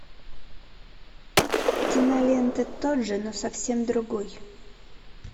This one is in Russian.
кинолента тот же но совсем другой